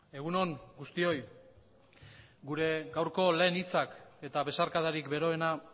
egun on guztioi gure gaurko lehen hitzak eta besarkadarik beroena